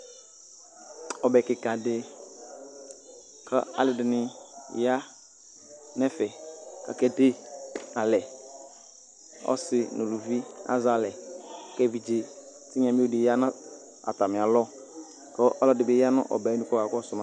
ɔbɛ keka di k'aloɛdini ya n'ɛfɛ k'ake de alɛ ɔse no uluvi azɛ alɛ k'evidze tinya mio di ya n'atamialɔ kò ɔloɛdi bi ya no ɔbɛ nu k'ɔka kɔsu ma